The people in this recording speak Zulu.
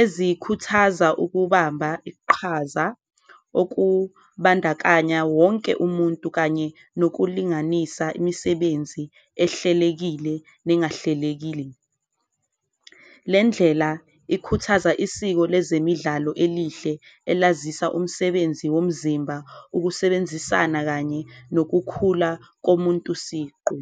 ezikhuthaza ukubamba iqhaza okubandakanya wonke umuntu kanye nokulinganisa imisebenzi ehlelekile nengahlelekile. Le ndlela ikhuthaza isiko lezemidlalo elihle elazisa, umsebenzi womzimba, ukusebenzisana kanye nokukhula komuntu siqu.